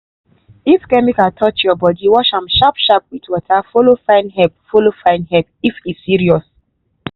if chemical touch your body wash am sharp sharp with water follow find help follow find help if e serious.